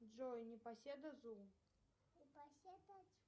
джой непоседа зум